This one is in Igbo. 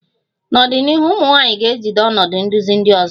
N'ọdịnihu, ụmụ nwanyị ga-ejide ọnọdụ nduzi ndị ọzọ